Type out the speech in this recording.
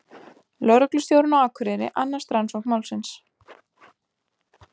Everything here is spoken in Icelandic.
Lögreglustjórinn á Akureyri annast rannsókn málsins